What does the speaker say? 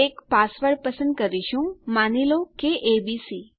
એક પાસવર્ડ પસંદ કરીશું માની લો કે એબીસી